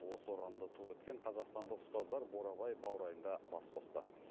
осы ұранды ту еткен қазақстандық ұстаздар бурабай баурайында бас қосты